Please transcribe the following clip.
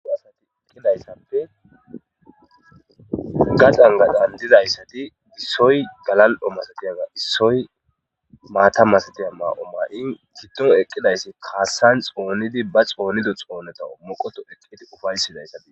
Hayisati gaxani gaxani dizaysati issoy gala'o malatiyaga issoy mata masatiya Mayo ma'in gidoni eqidays qase kasan xonidi ba xonido xonani upayetizaysa be'os